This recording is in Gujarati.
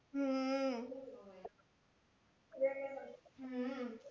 હમ હમ